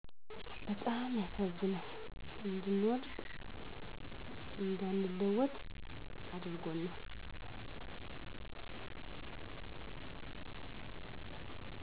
በጣም ያሳዝናል እንድንወድቅ እንዳንለወጥ አድርጎናል።